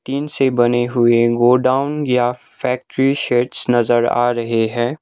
Tin से बने हुए गोडाउन या फैक्ट्री शेड्स नजर आ रहे हैं।